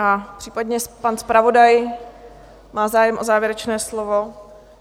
A případně pan zpravodaj má zájem o závěrečné slovo?